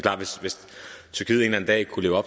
at